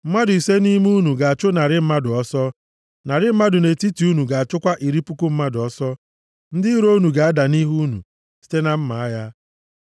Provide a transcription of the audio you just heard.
Mmadụ ise nʼime unu ga-achụ narị mmadụ ọsọ. Narị mmadụ nʼetiti unu ga-achụkwa iri puku mmadụ ọsọ. Ndị iro unu ga-ada nʼihu unu site na mma agha.